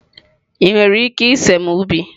Ị nwere ike ịse m ubi?